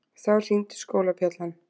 Þá hringdi skólabjallan.